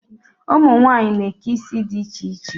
Ụmunwanyị na-eke isi di iche iche.